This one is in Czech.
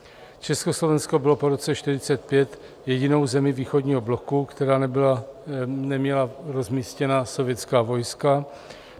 Československo bylo po roce 1945 jedinou zemí východního bloku, která neměla rozmístěna sovětská vojska.